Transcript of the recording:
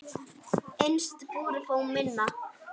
Innst í búri finna má.